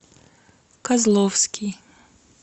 козловский